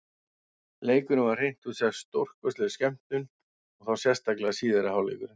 Leikurinn var hreint út sagt stórkostleg skemmtun, og þá sérstaklega síðari hálfleikurinn.